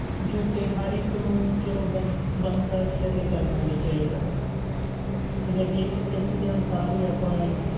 ਜੋ ਕਿ ਹਰ ਇੱਕ ਨੂੰ ਚਲੋ ਬਣਦਾ ਵੀ ਹੈ ਤੇ ਕਰਨਾ ਵੀ ਚਾਹੀਦਾ ਗਾ ਠੀਕ ਹੈ ਜੇ ਇਸ ਦੇ ਅਨੁਸਾਰ ਹੀ ਆਪਾਂ ਇੱ~